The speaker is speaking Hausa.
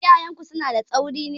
Iyayenku suna da tsauri ne?